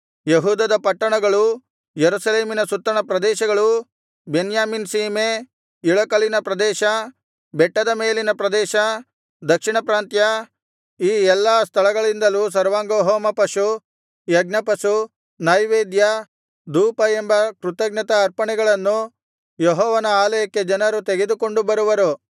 ಯೆಹೂದದ ಪಟ್ಟಣಗಳು ಯೆರೂಸಲೇಮಿನ ಸುತ್ತಣ ಪ್ರದೇಶಗಳು ಬೆನ್ಯಾಮೀನ್ ಸೀಮೆ ಇಳಕಲಿನ ಪ್ರದೇಶ ಬೆಟ್ಟದ ಮೇಲಣ ಪ್ರದೇಶ ದಕ್ಷಿಣಪ್ರಾಂತ್ಯ ಈ ಎಲ್ಲಾ ಸ್ಥಳಗಳಿಂದಲೂ ಸರ್ವಾಂಗಹೋಮಪಶು ಯಜ್ಞಪಶು ನೈವೇದ್ಯ ಧೂಪ ಎಂಬ ಕೃತಜ್ಞತಾ ಅರ್ಪಣೆಗಳನ್ನು ಯೆಹೋವನ ಆಲಯಕ್ಕೆ ಜನರು ತೆಗೆದುಕೊಂಡು ಬರುವರು